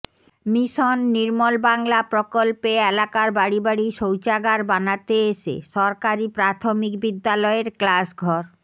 mission Nirmal Bangla প্রকল্পে এলাকার বাড়ি বাড়ি শৌচাগার বানাতে এসে সরকারি প্রাথমিক বিদ্যালয়ের ক্লাস ঘর